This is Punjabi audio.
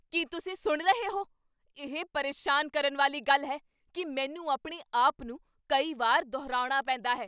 ਕੀ ਤੁਸੀਂ ਸੁਣ ਰਹੇ ਹੋ? ਇਹ ਪਰੇਸ਼ਾਨ ਕਰਨ ਵਾਲੀ ਗੱਲ ਹੈ ਕੀ ਮੈਨੂੰ ਆਪਣੇ ਆਪ ਨੂੰ ਕਈ ਵਾਰ ਦੁਹਰਾਉਣਾ ਪੈਂਦਾ ਹੈ।